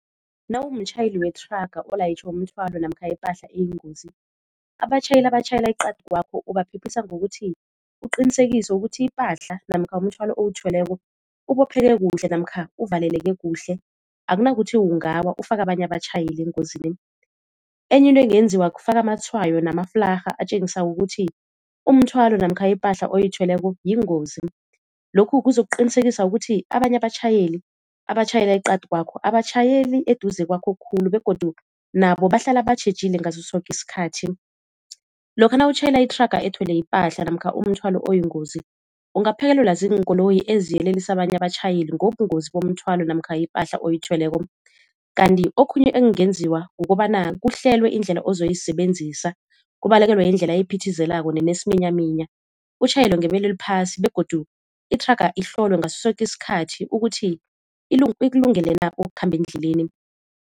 Nawumtjhayeli wethraga olayitjhe umthwalo namkha ipahla eyingozi. Abatjhayeli abatjhayela eqadi kwakho ubaphephisa ngokuthi uqinisekise ukuthi ipahla namkha umthwalo owuthweleko ubopheke kuhle namkha uvaleleke kuhle, akunakuthi ungawa ufake abanye abatjhayeli engozini. Enye into engenziwa kufaka amatshwayo namaflarha atjengisako ukuthi umthwalo namkha ipahla oyithweleko yingozi, lokhu kuzokuqinisekisa ukuthi abanye abatjhayeli abatjhayela eqadi kwakho abatjhayeli eduze kwakho khulu begodu nabo bahlala batjhejile ngaso soke isikhathi. Lokha nawutjhayela ithraga ethwele ipahla namkha umthwalo oyingozi ungaphekelelwa ziinkoloyi eziyelelisa abanye abatjhayeli ngobungozi bomthwalo namkha ipahla oyithweleko. Kanti okhunye ekungenziwa kukobana kuhlelwe indlela ozoyisebenzisa kubalekelwe indlela ephithizelako nenesiminyaminya utjhayele ngebelo eliphasi begodu ithraga ihlolwe ngaso soke isikhathi ukuthi ikulungele na ukukhamba endleleni.